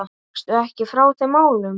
Gekkstu ekki frá þeim málum?